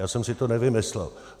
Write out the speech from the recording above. Já jsem si to nevymyslel.